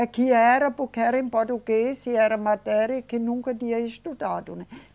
Aqui era porque era em português, e era matéria e que nunca tinha estudado, né.